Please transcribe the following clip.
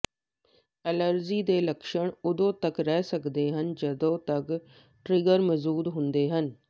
allergy ਦੇ ਲੱਛਣ ਉਦੋਂ ਤਕ ਰਹਿ ਸਕਦੇ ਹਨ ਜਦੋਂ ਤੱਕ ਟਰਿੱਗਰ ਮੌਜੂਦ ਹੁੰਦਾ ਹੈ